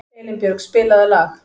Elínbjörg, spilaðu lag.